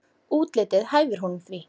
Útlitið hæfir honum því.